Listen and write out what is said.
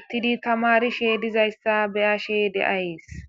uttidi tamari she dizayssa beyashe deayees